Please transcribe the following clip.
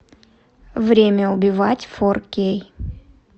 время убивать фор кей